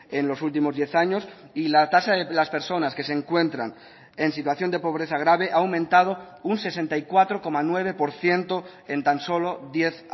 en los últimos diez años y la tasa de las personas que se encuentran en situación de pobreza grave ha aumentado un sesenta y cuatro coma nueve por ciento en tan solo diez